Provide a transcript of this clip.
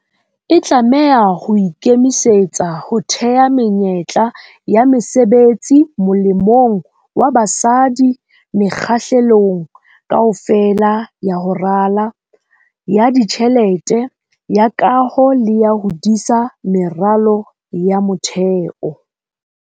E tlameha ho ikemisetsa ho theha menyetla ya mesebetsi molemong wa basadi mekga-hlelong kaofela ya ho rala, ya ditjhelete, ya kaho le ya ho disa meralo ya motheo.